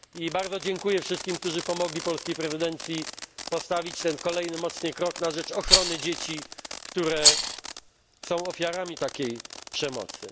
Bardzo dziękuję wszystkim, którzy pomogli polskiej prezydencji postawić ten kolejny mocny krok na rzecz ochrony dzieci, które są ofiarami takiej przemocy.